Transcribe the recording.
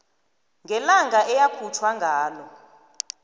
ngelanga eyakhutjhwa ngalo